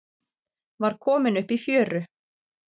Var kominn upp í fjöru